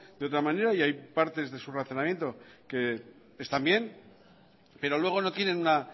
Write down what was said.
de otra manera hay partes de su razonamiento que están bien pero luego no tienen una